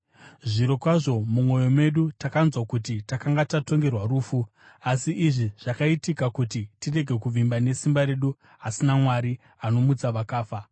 Zvirokwazvo mumwoyo medu takanzwa kuti takanga tatongerwa rufu. Asi izvi zvakaitika kuti tirege kuvimba nesimba redu asi naMwari, anomutsa vakafa.